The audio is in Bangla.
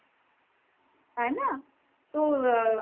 হয় না। তো